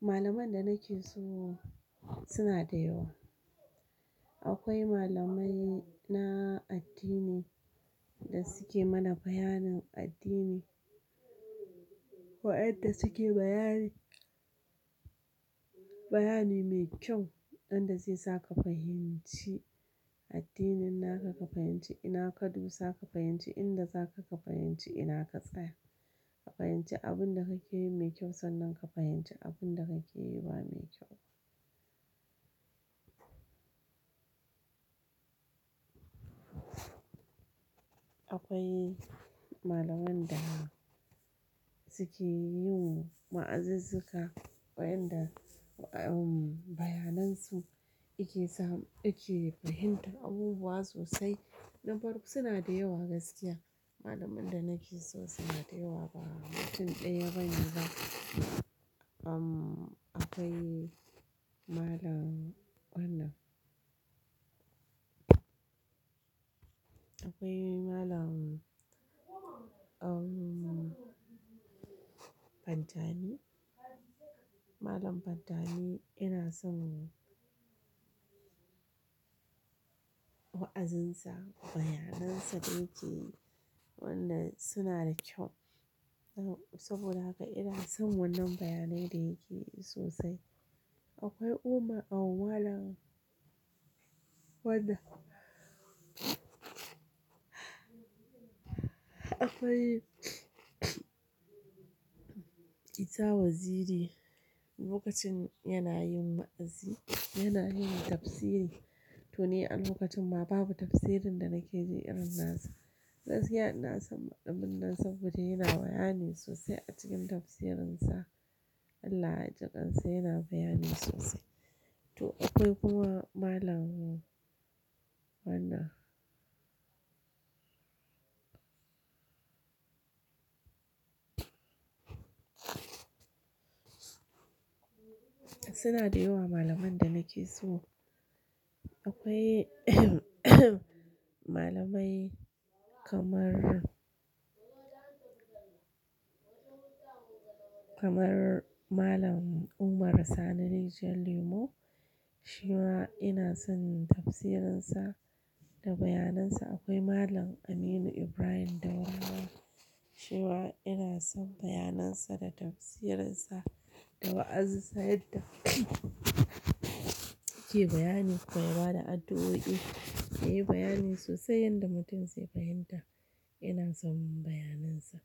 Malaman da nake so suna da yawa. Akwai malamai na addini da suke mana bayanin addini, waɗanda suke bayani, bayani mai kyau wanda zai saka ka fahimci addinin, naka ka fahimci ina ka dusa, ka fahimci inda zaka ka fahimci ina ka tsaya. Ka fahimci abin da kake yi mai kyau sannan ka fahimci abin da kake yi ba mai kyau. Akwai malaman da suke yin wa'azuzzuka waɗanda, umm, bayanan su yake sa ake fahimtar abubuwa sosai. Na farko suna da yawa gaskiya. Malaman da nake so suna da yawa ba mutum ɗaya bane ba. Umm, akwai Malam wannan-- akwai Malam, umm, Pantami. Malam Pantani ina son wa'azinsa, bayanan sa da yake wannan suna da kyau. Saboda haka ina son wannan bayanai da yake yi sosai. Akwai Umar, umm, malam wannan. Akwai Ita Waziri lokacin yana yin wa'azi, yana yin tafsiri, to ni alokacin ma babu tafsirin da nake ji irin na sa. Gaskiya ina son malamin nan saboda yana bayani sosai a cikin tafsirinsa. Allah ya jikan sa, yana bayani sosai. To akwai kuma Malam wannan Suna da yawa malaman da nake so. Akwai malamai kamar, kamar Malam Umar Sani rijiyan Lemo. Shi ma ina son tafsirinsa da bayanan sa. Akwai Malam Aminu Ibrahim Daurawa. Shi ma ina son bayanan sa da tafsirinsa da wa'azin sa yadda yake bayani, kuma ya bada addu'o'i, ya yi bayani sosai yanda mutum zai fahimta. Ina son bayanan sa.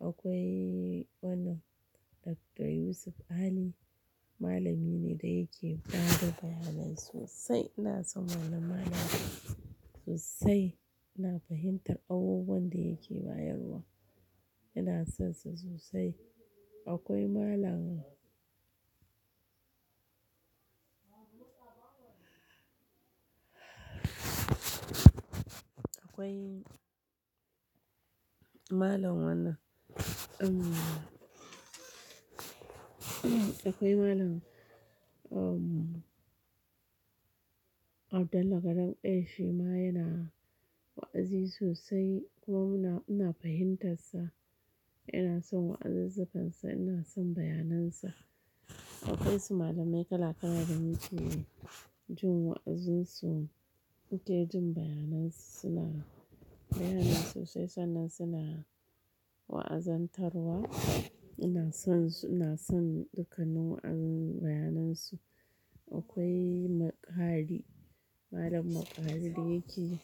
Akwai wannan Dr. Yusuf Ali, malami ne da yake ba da bayanai sosai. Ina son wannan Malamin sosai. Ina fahimtar abubuwan da yake bayarwa. Ina son sa sosai. Akwai Malam Akwai Malam wannan, umm, akwai Malam, umm, Abdullah Garam ɗaya. Shi ma yana wa'azi sosai kuma muna, ina fahimtar sa. Ina son wa'azuzzukansa, ina son bayanan sa. Akwai su malamai kala kala da muke. Jin wa'azinsu, muke jin bayanan su suna bayani sosai sannan suna wa'azantarwa. Ina son su, ina son dukanin bayanan su. Akwai Maƙari, Malam Maƙari da yake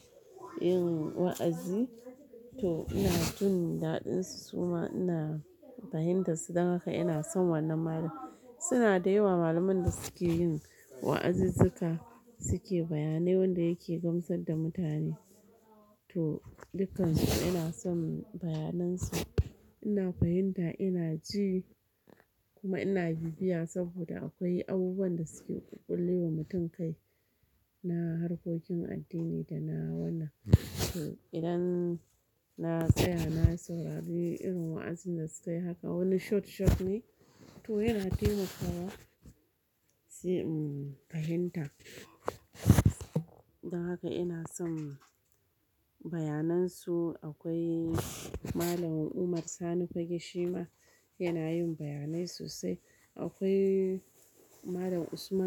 yin wa'azi. To ina jin daɗin su suma ina fahimtar su don haka ina son wannan Malamin. Suna da yawa malamai da suke yin wa'azuzzuka, suke bayane wanda yake gamsar da mutane. To dukansu ina son bayanan su. Ina fahimta, ina ji kuma ina bibiya saboda akwai abubuwan da suke ƙullewa mutum kai na harkokin addini da na wannan. Idan na tsaya na saurari irin wa'azin da suka yi haka wani short short ne, to yana taimakawa sai, umm, fahimta. Don haka ina son bayanan su. Akwai Malam Umar Sani Fagge shi ma yana yin bayanai sosai. Akwai Malam Usman.